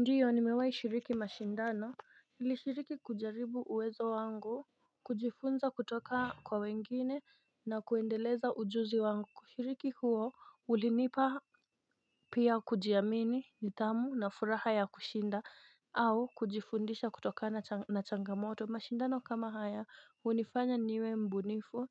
Ndiyo nimewai shiriki mashindano nilishiriki kujaribu uwezo wangu. Kujifunza kutoka kwa wengine na kuendeleza ujuzi wangu ushiriki huo ulinipa pia kujiamini nithamu na furaha ya kushinda au kujifundisha kutoka na changamoto mashindano kama haya unifanya niwe mbunifu